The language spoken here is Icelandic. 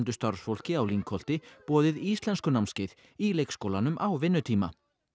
starfsfólki á Lyngholti boðið íslenskunámskeið í leikskólanum á vinnutíma